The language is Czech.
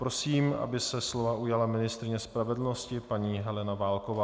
Prosím, aby se slova ujala ministryně spravedlnosti paní Helena Válková.